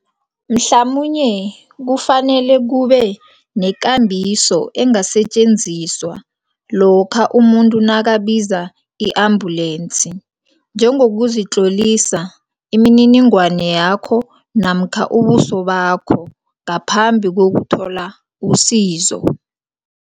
Mhlamunye kufanele kube nekambiso engasetjenziswa. Lokha umuntu nakabiza i-ambulance njengokuzitlolisa imininingwane yakho namkha ubuso bakho ngaphambi kokuthola usizo.